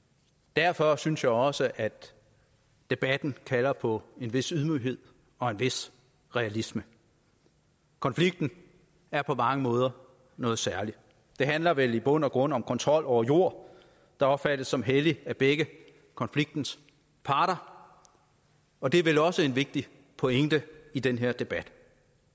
derfor synes jeg også at debatten kalder på en vis ydmyghed og en vis realisme konflikten er på mange måder noget særligt det handler vel i bund og grund om kontrol over jord der opfattes som hellig af begge konfliktens parter og det er vel også en vigtig pointe i den her debat